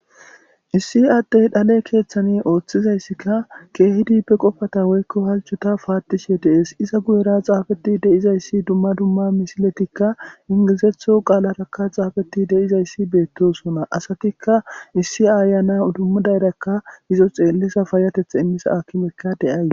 Issi addey dhale keeththani ooththizayssikka keehidi pe qofata woykko halcota paatishe deees iza guyera xaafeti deizayssi dumma dumma misiletikka ingizetho qaalarakka xaafeti deizayssi beettosona asatikka issi ayana dummudayrakka izo xeellisa fayatetha immisa akimekka deyaay.